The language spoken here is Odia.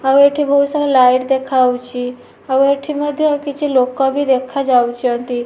ଆଉ ଏଠି ବୋହୁତ ସାରା ଲାଇଟ୍ ଦେଖାହୋଉଛି ଆଉ ଏଠି ମଧ୍ୟ କିଛି ଲୋକ ବି ଦେଖା ଯାଉଚନ୍ତି ।